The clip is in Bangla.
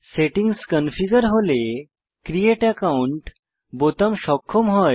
সেটিংস স্বয়ং কনফিগার হলে ক্রিয়েট একাউন্ট বোতাম সক্ষম হয়